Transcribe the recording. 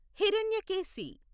Hiranyakeshi